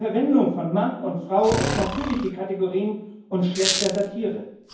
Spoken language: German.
Bei der Verwendung von Mann und Frau als natürliche Kategorien und schlechter Satire.